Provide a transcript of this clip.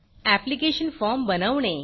application form बनवणे